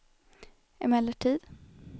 emellertid